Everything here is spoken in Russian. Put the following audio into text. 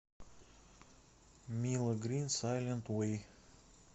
мило грин сайлент вэй